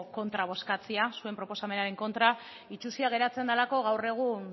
zuen proposamenaren kontra bozkatzea itsusia geratzen delako gaur egun